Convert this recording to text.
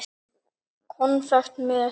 Konfekt með.